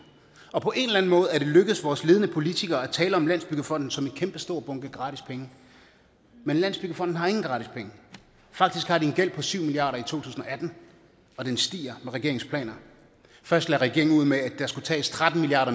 og på en måde er det lykkedes vores ledende politikere at tale om landsbyggefonden som en kæmpestor bunke gratis penge men landsbyggefonden har ingen gratis penge faktisk har den en gæld på syv milliard tusind og atten og den stiger med regeringens planer først lagde regeringen ud med at der skulle tages tretten milliard